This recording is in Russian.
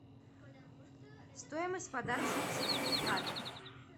стоимость подарочного сертификата